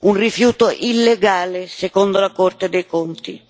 un rifiuto illegale, secondo la Corte dei conti.